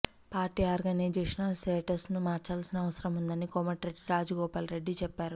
party organisational setup ను మార్చాల్సిన అవసరం ఉందని కోమటిరెడ్డి రాజగోపాల్రెడ్డి చెప్పారు